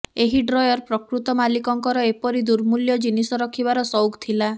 ଏହି ଡ୍ରୟର ପ୍ରକୃତ ମାଲିକଙ୍କର ଏପରି ଦୁର୍ମୂଲ୍ୟ ଜିନିଷ ରଖିବାର ସଉକ ଥିଲା